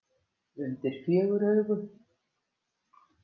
Undir fjögur augu.